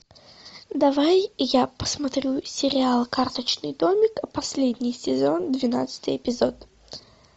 давай я посмотрю сериал карточный домик последний сезон двенадцатый эпизод